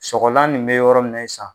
Sogolan nin be yɔrɔ min na ye sa